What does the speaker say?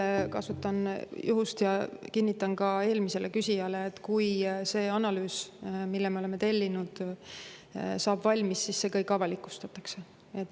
Veel kasutan juhust ja kinnitan ka eelmisele küsijale, et kui see analüüs, mille me oleme tellinud, saab valmis, siis see kõik avalikustatakse.